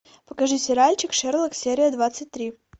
покажи сериальчик шерлок серия двадцать три